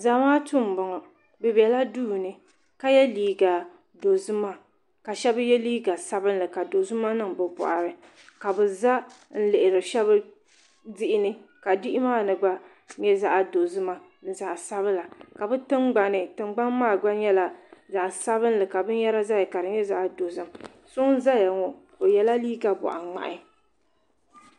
Zamaatu m boŋɔ bɛ bela duuni ka ye liiga dozima ka sheba ye liiga sabinli ka dozima niŋ bɛ boɣari ka bɛ za n lihiri sheba diɣini diɣi maani gba nyɛ zaɣa dozima ni zaɣa sabila di tingbani tingbani maa gba nyɛla zaɣa sabila ka binyera zaya ka di nyɛ zaɣa dozim so n zaya ŋɔ o yela liiga boɣa ŋmahi.